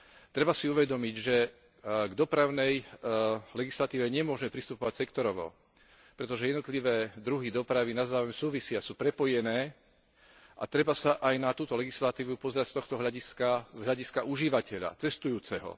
Treba si uvedomiť, že k dopravnej legislatíve nemôžme pristupovať sektorovo, pretože jednotlivé druhy dopravy navzájom súvisia, sú prepojené a treba sa aj na túto legislatívu pozerať z tohto hľadiska z hľadiska užívateľa, cestujúceho.